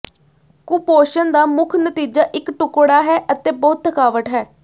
ਕੁਪੋਸ਼ਣ ਦਾ ਮੁੱਖ ਨਤੀਜਾ ਇੱਕ ਟੁਕੜਾ ਹੈ ਅਤੇ ਬਹੁਤ ਥਕਾਵਟ ਹੈ